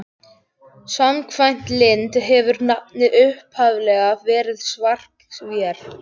Samkvæmt Lind hefur nafnið upphaflega verið Svark-vér.